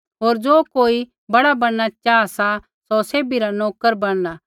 होर ज़ो कोई बड़ा बैणना चाहा सा सौ सैभी रा नोकर बैणला